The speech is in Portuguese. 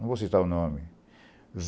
Não vou citar o nome.